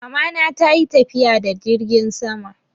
Mamana ta yi tafiya da jirgin sama.